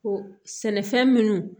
Ko sɛnɛfɛn minnu